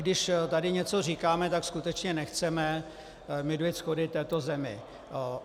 Když tady něco říkáme, tak skutečně nechceme mydlit schody této zemi.